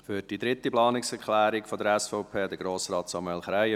Für dritte Planungserklärung der SVP spricht Grossrat Samuel Krähenbühl.